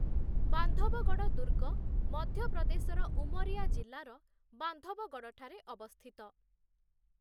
ବାନ୍ଧବଗଡ଼ ଦୁର୍ଗ ମଧ୍ୟପ୍ରଦେଶର ଉମରିଆ ଜିଲ୍ଲାର ବାନ୍ଧବଗଡ଼ଠାରେ ଅବସ୍ଥିତ ।